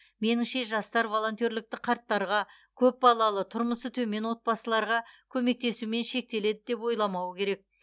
меніңше жастар волонтерлікті қарттарға көпбалалы тұрмысы төмен отбасыларға көмектесумен шектеледі деп ойламауы керек